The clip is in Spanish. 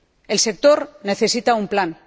El sector necesita un plan.